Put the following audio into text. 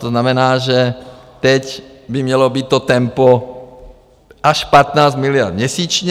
To znamená, že teď by mělo být to tempo až 15 miliard měsíčně.